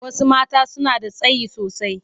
Wasu mata suna da tsayi sosai.